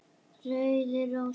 Rauðar rósir